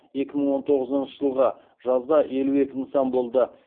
екі мың он тоғызыншы жылғы жазда елу екі нысан болды